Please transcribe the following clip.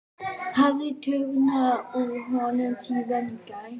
Hafði tognað úr honum síðan í gær?